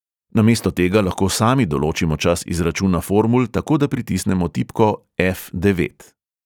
Namesto tega lahko sami določimo čas izračuna formul, tako da pritisnemo tipko ef| devet.